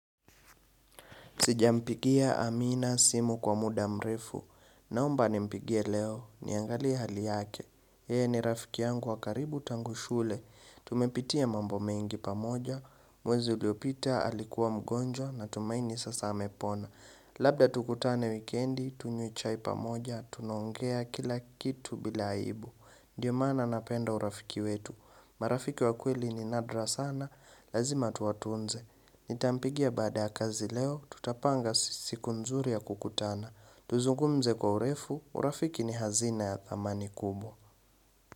Sijampigia Amina simu kwa muda mrefu. Naomba nimpigia leo. Niangalia hali yake. Yeye ni rafiki yangu wa karibu tangu shule. Tumepitia mambo mengi pamoja. Mwezi uliopita alikuwa mgonjwa na tumaini sasa amepona. Labda tukutane wikendi, tunywe chai pamoja, tunaongea kila kitu bila aibu. Ndiyo maana napenda urafiki wetu. Marafiki wa kweli ni nadra sana, lazima tuwatunze. Nitampigia baada ya kazi leo, tutapanga siku nzuri ya kukutana. Tuzungumze kwa urefu, urafiki ni hazina ya dhamani kubwa.